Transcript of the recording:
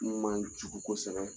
N man jugu ko kosɛbɛ